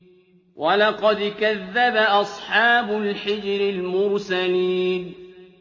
وَلَقَدْ كَذَّبَ أَصْحَابُ الْحِجْرِ الْمُرْسَلِينَ